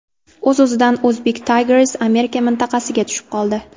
O‘z-o‘zidan Uzbek Tigers Amerika mintaqasiga tushib qoldi.